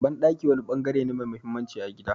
Banɗaki wani bangare ne mai mahimmanci a gida.